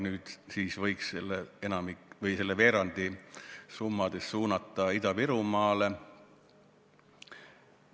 Nüüd siis võiks veerandi nendest summadest suunata Ida-Virumaale.